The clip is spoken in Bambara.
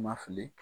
Ma fili